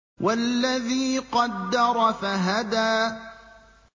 وَالَّذِي قَدَّرَ فَهَدَىٰ